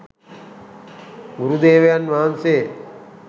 ගුරුදේවයන් වහන්සේ